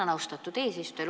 Tänan, austatud eesistuja!